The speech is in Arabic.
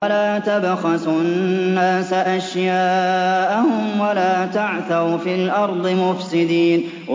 وَلَا تَبْخَسُوا النَّاسَ أَشْيَاءَهُمْ وَلَا تَعْثَوْا فِي الْأَرْضِ مُفْسِدِينَ